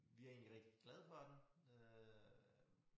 Vi er egentlig rigtig glade for den øh